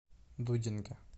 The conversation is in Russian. дудинке